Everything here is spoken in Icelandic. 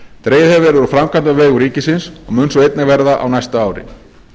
dregið hefur verið úr framkvæmdum á vegum ríkisins og mun svo einnig verða á næsta ári